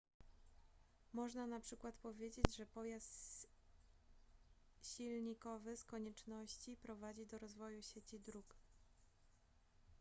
można na przykład powiedzieć że pojazd silnikowy z konieczności prowadzi do rozwoju sieci dróg